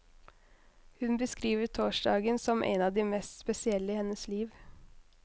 Hun beskriver torsdagen som en av de mest spesielle i hennes liv.